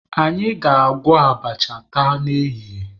Anyị ga-agwọ abacha taa n'ehihie.